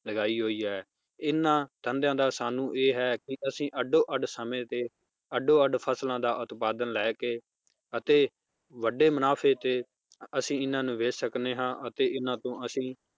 ਲਗਾਈ ਹੋਈ ਹੈ ਇਹਨਾਂ ਧੰਦਿਆਂ ਦਾ ਸਾਨੂੰ ਇਹ ਹੈ ਕਿ ਅਸੀਂ ਅੱਡੋ ਅੱਡ ਸਮੇ ਤੇ ਅੱਡੋ ਅੱਡ ਫਸਲਾਂ ਦਾ ਉਤਪਾਦਨ ਲੈ ਕੇ ਅਤੇ ਵਡੇ ਮੁਨਾਫ਼ੇ ਤੇ ਅਸੀਂ ਇਹਨਾਂ ਨੂੰ ਵੇਚ ਸਕਨੇ ਹਾਂ ਅਤੇ ਇਹਨਾਂ ਤੋਂ ਅਸੀ